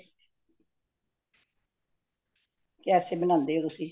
ਕੇਸੇ ਬਣਾਂਦੇ ਹੋ ਤੁਸੀਂ